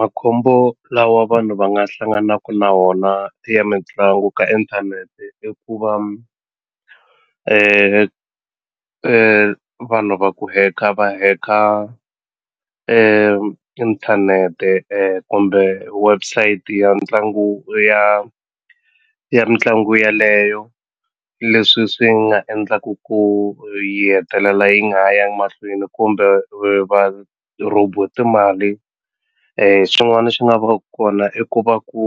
Makhombo lawa vanhu va nga hlanganaku na wona ya mitlangu ka inthanete i ku va vanhu va ku hack-a va hack-a inthanete kumbe website ya tlangu ya ya mitlangu yaleyo leswi swi nga endlaku ku yi hetelela yi nga ha yangi mahlweni kumbe va rhobiwe timali swin'wani swi nga va ku kona i ku va ku